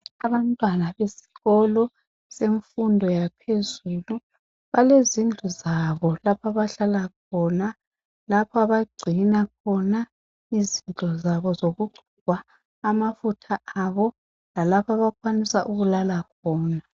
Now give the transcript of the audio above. Abantwana besikolo semfundo yaphezulu balezindlu zabo lapho abahlala khona abagcina khona izinto zabo zokugcoba amafutha abo lalapho abakwanisa ukuhlala khona.